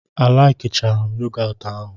a laikicham yogotu ahụ.